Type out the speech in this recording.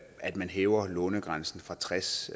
at man hæver lånegrænsen fra tres